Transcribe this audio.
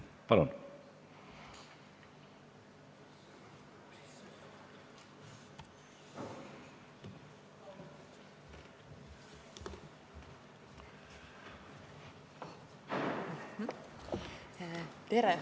Palun!